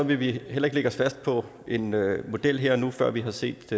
vi heller ikke lægge os fast på en model her og nu før vi har set